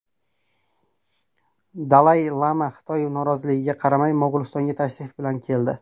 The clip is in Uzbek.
Dalay-lama Xitoy noroziligiga qaramay, Mo‘g‘ulistonga tashrif bilan keldi.